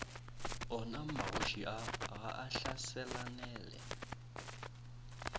onamagoši a ga a hlaselanele